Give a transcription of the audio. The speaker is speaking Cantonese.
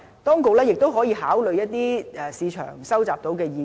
當局亦可考慮一些在市場上收集到的意見。